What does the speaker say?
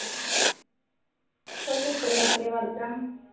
ਕੋਈ ਨੁਕਰੇ ਨਾਕਰੇ ਵੜ ਜਾ